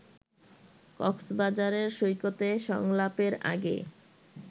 কক্সবাজারের সৈকতে সংলাপের আগে